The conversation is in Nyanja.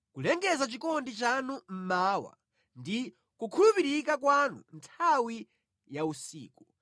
Kulengeza chikondi chanu mmawa, ndi kukhulupirika kwanu nthawi ya usiku,